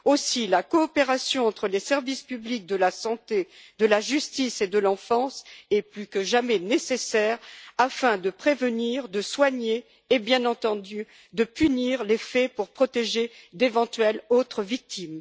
Aussi, la coopération entre les services publics de la santé, de la justice et de l'enfance est elle plus que jamais nécessaire afin de prévenir, de soigner et, bien entendu, de punir les faits pour protéger d'éventuelles autres victimes.